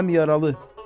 Həm yaralı.